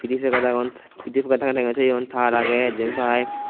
piday pakat aagon pidaypakat tagay tagay toyone tar aagay jenpai.